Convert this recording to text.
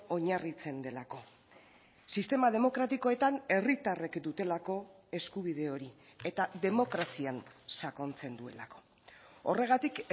oinarritzen delako sistema demokratikoetan herritarrek dutelako eskubide hori eta demokrazian sakontzen duelako horregatik